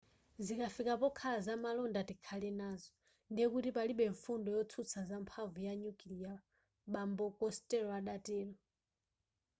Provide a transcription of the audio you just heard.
zikafika pokhala zamalonda tikhale nazo ndiye kuti palibe mfundo yotsutsa za mphamvu ya nyukilia bambo costello adatero